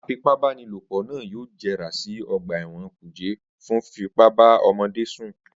Afipábanílòpọ̀ náà yóò jẹrà sí ọgbà ẹ̀wọ̀n kùjé fún fífipá bá ọmọdé sùn